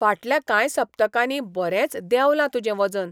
फाटल्या कांय सप्तकांनी बरेंच देंवलां तुजें वजन!